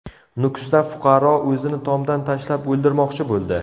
Nukusda fuqaro o‘zini tomdan tashlab o‘ldirmoqchi bo‘ldi.